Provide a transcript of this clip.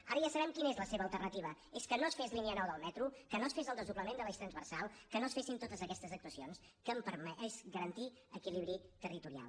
ara ja sabem quina és la seva alternativa és que no es fes línia nou del metro que no es fes el desdoblament de l’eix transversal que no es fessin totes aquestes actuacions que han permès garantir equilibri territorial